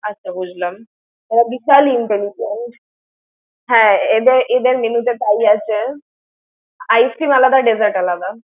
আচ্ছা, বুজলাম। এরা বিশাল intelligent । হ্যাঁ, এদের এদের menu তে তাই আছে। ice cream আলাদা dessert আলাদা।